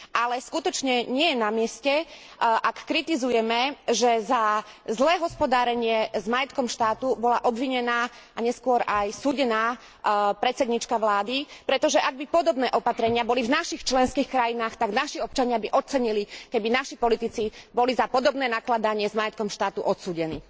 Ale skutočne nie je namieste, ak kritizujeme, že za zlé hospodárenie s majetkom štátu bola obvinená a neskôr aj súdená predsedníčka vlády, pretože ak by podobné opatrenia boli v našich členských krajinách, tak naši občania by ocenili, keby naši politici boli za podobné nakladanie s majetkom štátu odsúdení.